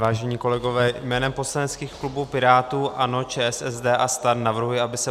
Vážení kolegové, jménem poslaneckých klubů pirátů, ANO, ČSSD a STAN navrhuji, aby se